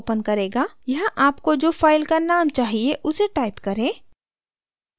यहाँ आपको जो file का name चाहिए उसे type करें